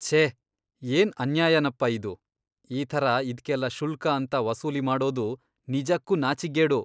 ಛೇ ಏನ್ ಅನ್ಯಾಯನಪ್ಪ ಇದು.. ಈ ಥರ ಇದ್ಕೆಲ್ಲ ಶುಲ್ಕ ಅಂತ ವಸೂಲಿ ಮಾಡೋದು ನಿಜಕ್ಕೂ ನಾಚಿಕ್ಗೇಡು.